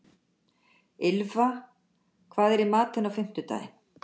Ylfa, hvað er í matinn á fimmtudaginn?